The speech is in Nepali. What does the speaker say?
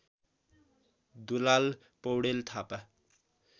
दुलाल पौडेल थापा